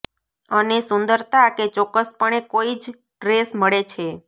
અને સુંદરતા કે ચોક્કસપણે કોઇ જ ડ્રેસ મળે છે